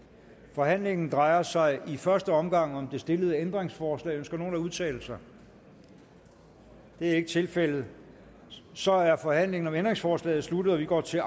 forhandlingen drejer sig i første omgang om det stillede ændringsforslag ønsker nogen at udtale sig det er ikke tilfældet så er forhandlingen om ændringsforslaget sluttet og vi går til